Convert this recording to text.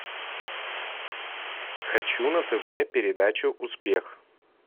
хочу на тв передачу успех